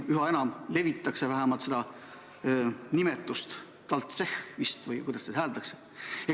Üha enam ju levitatakse seda uut nimetust – "talltsehh" vist või kuidas seda hääldatakse.